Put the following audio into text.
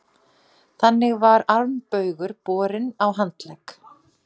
Þannig var armbaugur borinn á handlegg.